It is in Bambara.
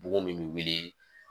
Bugun min be wilii